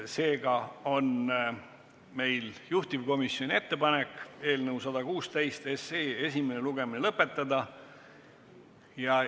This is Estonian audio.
Seega on juhtivkomisjoni ettepanek eelnõu 116 esimene lugemine lõpetada.